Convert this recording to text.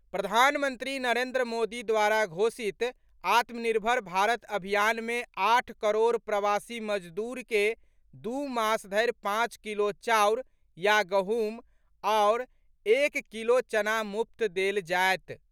प्रधानमंत्री नरेंद्र मोदी द्वारा घोषित आत्मनिर्भर भारत अभियान मे आठ करोड़ प्रवासी मजदूर के दू मास धरि पांच किलो चाउर या गहूंम आओर एक किलो चना मुफ्त देल जायत।